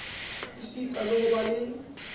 esita le ho ba le